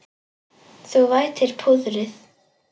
Þú vætir púðrið.